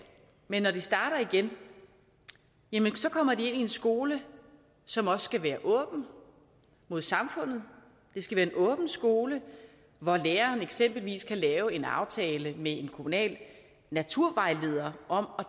men når de starter igen jamen så kommer de ind i en skole som også skal være åben mod samfundet det skal være en åben skole hvor læreren eksempelvis kan lave en aftale med en kommunal naturvejleder om at